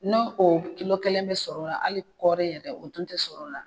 N'o o kilo kelen bɛ sɔrɔ o la hali kɔɔri yɛrɛ o dun tɛ sɔrɔ la